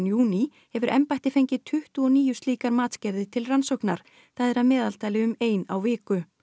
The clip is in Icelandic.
júní hefur embættið fengið tuttugu og níu slíkar matsgerðir til rannsóknar það er að meðaltali um ein á viku